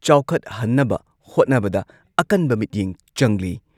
CM ꯑꯣꯜ ꯃꯨꯈ꯭ꯌ ꯃꯟꯇ꯭ꯔꯤ ꯅꯣꯡꯊꯣꯝꯕꯝ ꯕꯤꯔꯦꯟ ꯁꯤꯡꯍꯅ ꯍꯥꯏꯔꯤ ꯔꯥꯖ꯭ꯌ ꯁꯔꯀꯥꯔꯅ ꯇꯨꯔꯤꯖꯝꯒꯤ ꯂꯝꯗ